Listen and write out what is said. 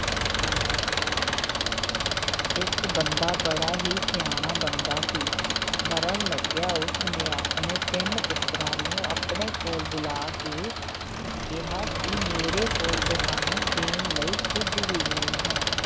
ਇੱਕ ਬੰਦਾ ਬੜਾ ਹੀ ਸਿਆਣਾ ਬੰਦਾ ਸੀ ਮਰਨ ਲੱਗਿਆ ਉਸਨੇ ਆਪਣੇ ਤਿੰਨ ਪੁੱਤਰਾਂ ਨੂੰ ਆਪਣੇ ਕੋਲ ਬੁਲਾ ਕੇ ਕਿਹਾ ਕਿ ਮੇਰੇ ਕੋਲ ਤੁਹਾਨੂੰ ਦੇਣ ਲਈ ਕੁੱਝ ਵੀ ਨਹੀਂ ਹੈ,